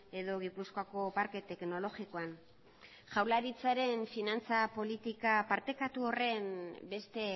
edo gipuzkoako parke teknologikoan jaurlaritzaren finantza politika partekatu horren beste